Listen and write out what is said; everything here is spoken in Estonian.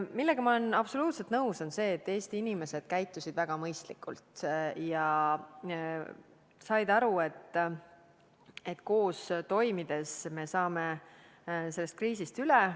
Ma olen absoluutselt nõus sellega, et Eesti inimesed käitusid väga mõistlikult ja said aru, et koos toimides saame sellest kriisist üle.